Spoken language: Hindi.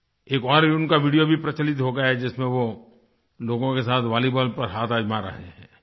एक और उनका वीडियो भी प्रचलित हो गया है जिसमें वो लोगों के साथ वॉलीबॉल पर हाथ आज़मा रहे हैं